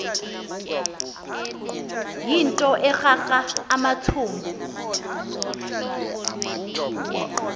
yinto ekrakra amathumbu